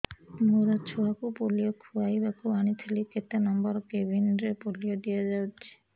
ମୋର ଛୁଆକୁ ପୋଲିଓ ଖୁଆଇବାକୁ ଆଣିଥିଲି କେତେ ନମ୍ବର କେବିନ ରେ ପୋଲିଓ ଦିଆଯାଉଛି